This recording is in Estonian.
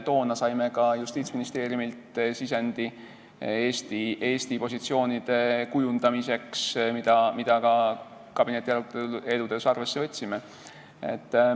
Toona saime Justiitsministeeriumilt sisendi Eesti positsioonide kujundamiseks, mida ka kabinetiaruteludes arvesse võtsime.